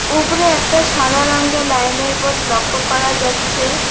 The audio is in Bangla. ওপরে একটা সাদা রঙের লাইনের বোর্ড লক্ষ্য করা যাচ্ছে।